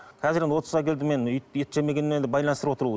қазір енді отызға келдім мен ет жемегенмен енді байланыстырып отыр